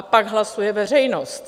A pak hlasuje veřejnost.